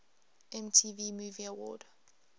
mtv movie award